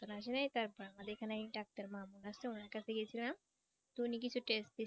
আসে নাই তারপর আমাদের এখানে ডাক্তার মামু আছে উনার কাছে গিয়েছিলাম তো উনি কিছু test দিছিলেন।